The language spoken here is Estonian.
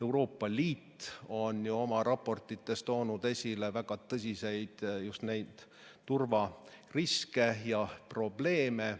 Euroopa Liit on oma raportites toonud esile väga tõsiseid turvariske ja probleeme.